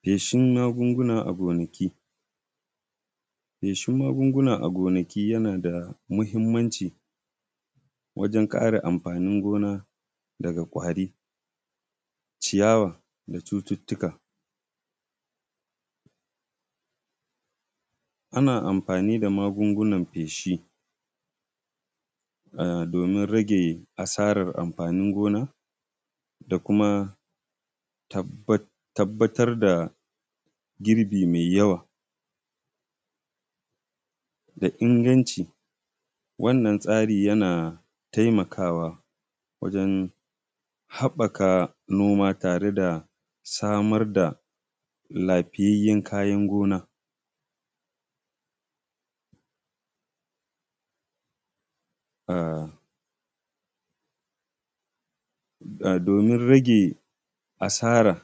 Feshin magunguna a gonaki. Feshin magunguna a gonaki yana da muhimmanci wajan kare amfanin gona daga ƙwari, ciyawa da cututuka. Ana amfani da magungunan feshi domin rage asaran amfanin gona da kuma tabbatar da girbi mai yawa da inganci. Wannan tsari yana taimaka wa wajan haɓɓaka noma tare da samar da lafiyayyan kayan gona, domin rage asaran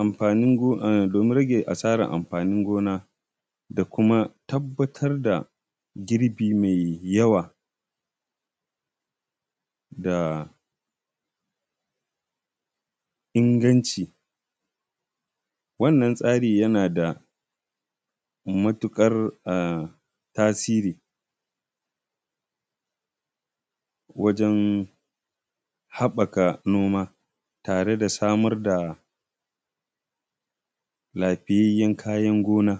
amfanin gona da kuma tabbatar da girbi mai yawa da inganci. Wannan tsari yana da matuƙar tasiri wajan haɓɓaka noma tare da samar da lafiyayyan kayan gona.